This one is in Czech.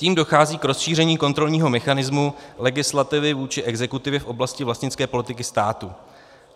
Tím dochází k rozšíření kontrolního mechanismu legislativy vůči exekutivě v oblasti vlastnické politiky státu.